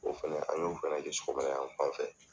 O fɛnɛ an y'o fɛnɛ kɛ, sogomada yanfan fɛ.